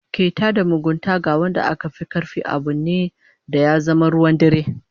Keta da mugunta ga wanda aka fi karfi abu ne da ya zama ruwan dare